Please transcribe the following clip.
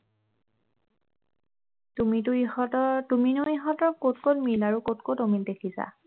তুমিনো ইহঁতৰ তুমিনো ইহঁতৰ কত কত মিল আৰু কত কত অমিল দেখিছা